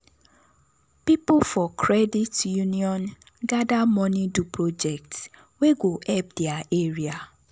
people for credit union gather money do project wey go help their area.